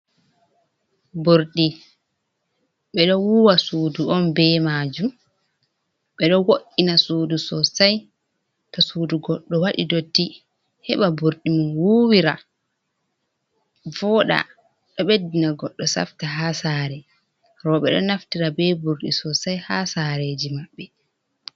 Ɓurɗi, ɓeɗo wuwa sudu on be majum, ɓeɗo wo’ina sudu sosai to sudu goɗɗo waɗi dodti heɓa burɗi mom wuwira, voɗa, ɗo beddina goɗɗo safta ha sare. Rooɓe ɗo naftira be burɗi sosai ha sareji maɓɓe.